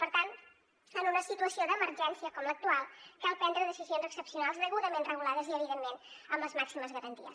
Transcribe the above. per tant en una situació d’emergència com l’actual cal prendre decisions excepcionals degudament regulades i evidentment amb les màximes garanties